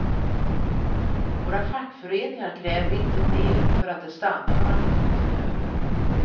Våra fackföreningar kräver inte mer för att de stannar några minuter över.